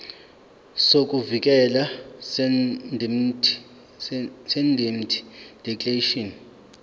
sokuvikeleka seindemnity declaration